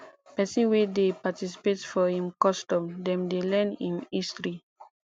pesin wey dey participate for im custom dem dey learn im history